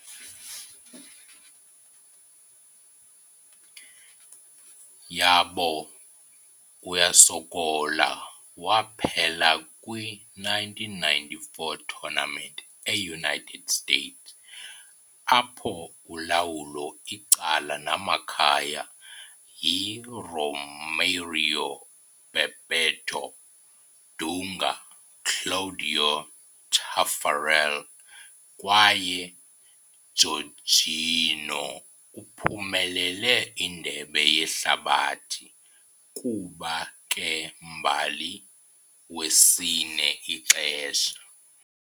Yabo uyasokola waphela kwi - 1994 tournament e-United States, apho ulawulo icala namakhaya yi - Romário, Bebeto, Dunga, Cláudio Taffarel kwaye Jorginho uphumelele Indebe Yehlabathi kuba ke-mbali wesine ixesha.